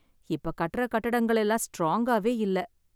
இப்ப கட்டற கட்டடங்கள் எல்லாம் ஸ்ட்ராங்காவே இல்ல.